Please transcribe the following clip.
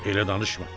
elə danışma.